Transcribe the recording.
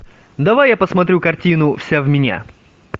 давай я посмотрю картину вся в меня